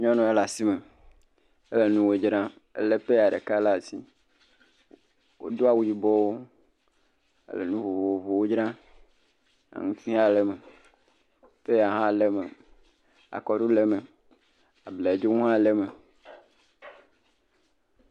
Nyɔnu aɖe le asi me. Ele nuwo dzram. Elé peya ɖeka ɖe asi. Wodo awu yibɔwo. Wole nu vovovowo dzram. Aŋuti hã le eme, peya hã le me, akɔɖu le eme, abladzo hã le eme.